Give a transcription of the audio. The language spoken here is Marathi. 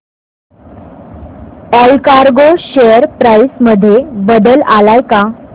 ऑलकार्गो शेअर प्राइस मध्ये बदल आलाय का